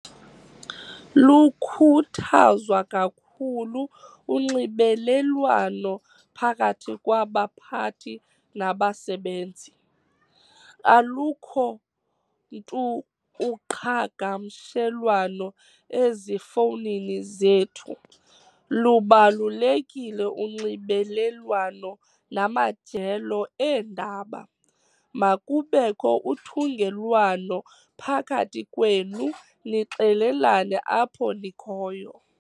Lukhuthazwa kakhulu unxibelelwano phakathi kwabaphathi nabasebenzi. alukho ntu uqhagamshelwano ezifownini zethu, lubalulekile unxibelelwano namajelo eendaba, makubekho uthungelwano phakathi kwenu nixelelane apho nikhoyo